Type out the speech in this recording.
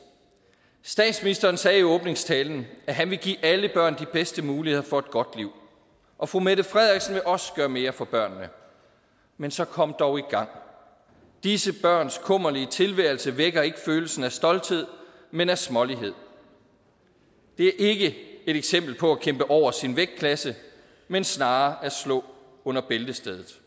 statsministeren sagde i åbningstalen at han ville give alle børn de bedste muligheder for et godt liv og fru mette frederiksen vil også gøre mere for børnene men så kom dog i gang disse børns kummerlige tilværelse vækker ikke følelsen af stolthed men af smålighed det er ikke et eksempel på at kæmpe over sin vægtklasse men snarere at slå under bæltestedet